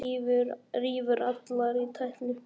Rífur allt í tætlur.